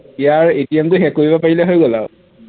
ইয়াৰ ATM টো hack কৰিব পাৰিলে হৈ গল আৰু